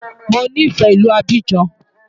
Mo nífẹ̀ẹ́ ìlú Abidjan.